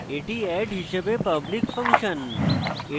এটি add হিসাবে public function